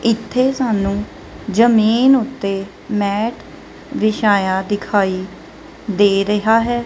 ਇੱਥੇ ਸਾਨੂੰ ਜਮੀਨ ਉੱਤੇ ਮੈਟ ਵਿਛਾਇਆ ਦਿਖਾਈ ਦੇ ਰਿਹਾ ਹੈ।